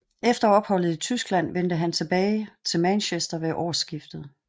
Efter opholdet i Tyskland vendte han tilbage til Manchester ved årskiftet